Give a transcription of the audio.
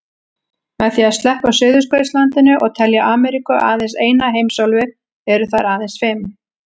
Með því að sleppa Suðurskautslandinu og telja Ameríku aðeins eina heimsálfu eru þær aðeins fimm.